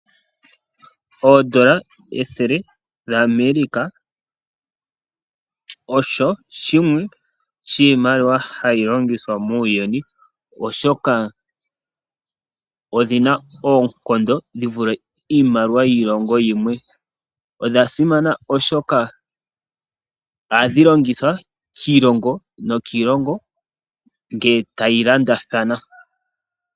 Oodola ethele dhaAmerica osho shimwe shiimaliwa hayi longithwa muuyuni, oshoka odhi na ongushu dhi vule iimaliwa yiilongo yimwe. Odha simana oshoka ohadhi longithwa kiilongo nokiilongo ngele tayi landathana.